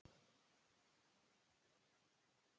Í staðinn fékk ég frystihús í Höfnum.